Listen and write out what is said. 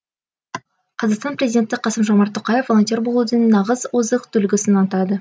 қазақстан президенті қасым жомарт тоқаев волонтер болудың нағыз озық үлгісін атады